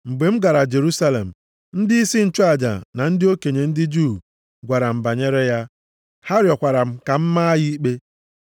Mgbe m gara Jerusalem, ndịisi nchụaja na ndị okenye ndị Juu gwara m banyere ya. Ha rịọkwara ka m maa ya ikpe.